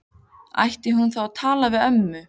Ætti hún þá að tala við ömmu?